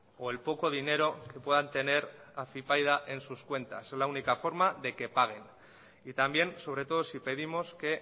o el poco dinero que puedan tener afypaida en sus cuentas es la única forma de que pague y también sobre todo si pedimos que